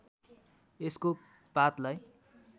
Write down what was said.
यसको पातलाई